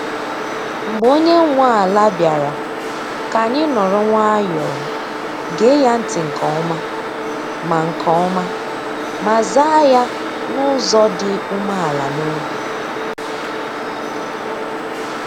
Mgbe onye nwe ala bịara, ka anyị nọrọ nwayọọ, gee ya ntị nke ọma, ma nke ọma, ma zaa ya n’ụzọ dị umeala n’obi.